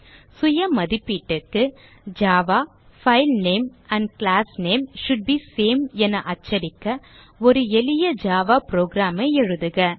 சுய மதிப்பீட்டுக்கு Java file name and class name should be same என அச்சடிக்க ஒரு எளிய ஜாவா புரோகிராம் ஐ எழுதுக